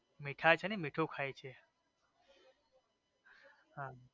મિઠાઈ છે ને મીઠું ખાઈ છે